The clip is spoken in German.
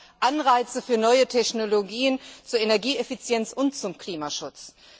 Das schafft Anreize für neue Technologien zur Energieeffizienz und zum Klimaschutz.